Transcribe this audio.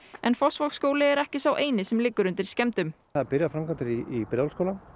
en Fossvogsskóli er ekki sá eini sem liggur undir skemmdum það eru byrjaðar framkvæmdir í Breiðholtsskóla